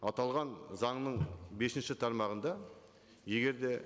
аталған заңның бесінші тармағында егер де